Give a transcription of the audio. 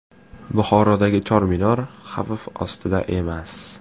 Buxorodagi Chor Minor xavf ostida emas.